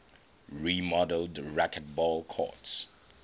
remodeled racquetball courts